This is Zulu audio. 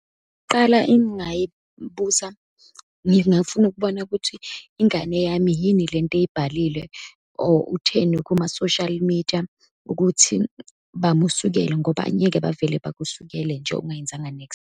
Qala engingayibuza ngingafuna ukubona ukuthi ingane yami yini lento eyibhalile or utheni kuma-social media ukuthi bamusukele, ngoba angeke bavele bakusukele nje ungayenzanga niks.